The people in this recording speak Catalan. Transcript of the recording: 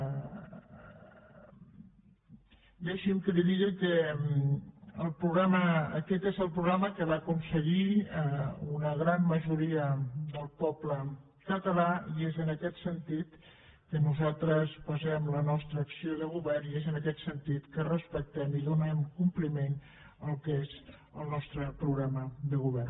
deixi’m que li digui que aquest és el programa que va aconseguir una gran majoria del poble català i és en aquest sentit que nosaltres basem la nostra acció de govern i és en aquest sentit que respectem i donem compliment al que és el nostre programa de govern